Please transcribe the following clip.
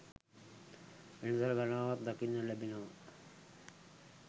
වෙළඳ සල් ගණනාවක් දකින්න ලැබෙනව.